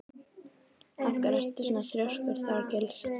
Af hverju ertu svona þrjóskur, Þorgils?